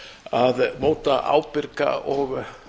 að móta ábyrga og